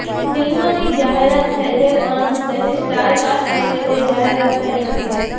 ફિલ્મની જાહેરાત થઇ ગઇ પરંતુ તેની સ્ટારકાસ્ટ અંગે કોઈ જાહેરાત થઈ નથી